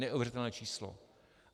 Neuvěřitelné číslo.